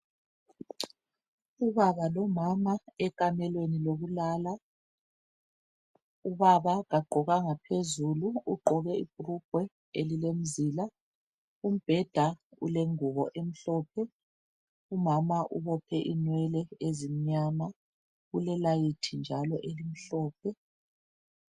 Ubaba lomama ekhamelweni lokulala. Ubaba kagqokanga phezulu, ugqoke ibhulugwe elilemizila. Umbheda ulengubo emhlophe. Umama ubophe inwele ezimnyama. Kulelayithi njalo elimhlophe